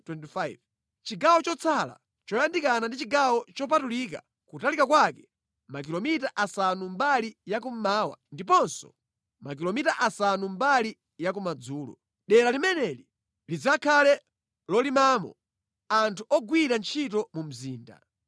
Chigawo chotsala, choyandikana ndi chigawo chopatulika, kutalika kwake makilomita asanu mbali yakummawa ndiponso makilomita asanu mbali ya kumadzulo. Dera limeneli lidzakhale lolimamo anthu ogwira ntchito mu mzinda.